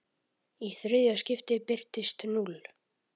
Í þriðja skiptið birtist núll.